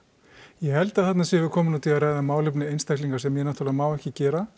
ég held að þarna séum við komin út í að ræða málefni einstaklinga sem ég náttúrulega má ekki gera